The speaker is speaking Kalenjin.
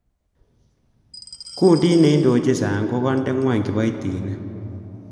Kundit neindochin Sang ko konde ngwony kiboitinik.